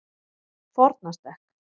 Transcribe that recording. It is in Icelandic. Fornastekk